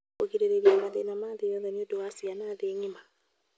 Kũgirĩrĩria mathĩna ma gĩthomo nĩũndũ wa ciana thĩ ng'ima.